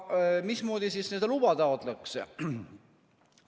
Mismoodi siis seda luba taotletakse?